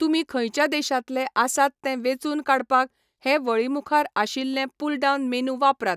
तुमी खंयच्या देशांतले आसात तें वेचून काडपाक हे वळी मुखार आशिल्लें पुलडावन मेनू वापरात.